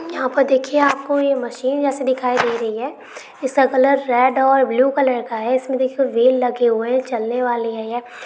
यहां पर देखिए आपको मशीन जैसे दिखाई दे रही है जिसका कलर रेड और ब्लू कलर का है इसमें देखिए वहेल लगे हुए हैं चलने वाली है यह।